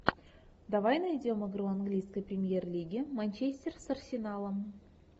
давай найдем игру английской премьер лиги манчестер с арсеналом